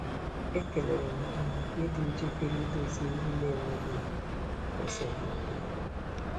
Ekelere m ha maka ịdị njikere idozi ihe n'enweghị esemokwu.